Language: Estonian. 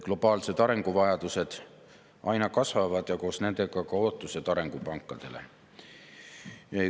Globaalsed arenguvajadused aina kasvavad ja koos nendega ka ootused arengupankadele.